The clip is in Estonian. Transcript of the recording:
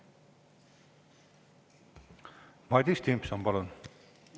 Madis Timpson, palun!